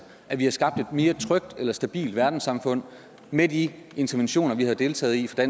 at vi har skabt et mere trygt eller stabilt verdenssamfund med de interventioner vi har deltaget i fra